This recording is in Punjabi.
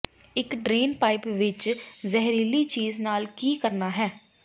ਇੱਕ ਡਰੇਨ ਪਾਈਪ ਵਿੱਚ ਜ਼ਹਿਰੀਲੀ ਚੀਜ਼ ਨਾਲ ਕੀ ਕਰਨਾ ਹੈ